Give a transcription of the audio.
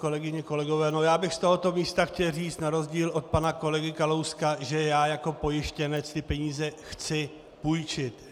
Kolegyně, kolegové, já bych z tohoto místa chtěl říct na rozdíl od pana kolegy Kalouska, že já jako pojištěnec tyto peníze chci půjčit.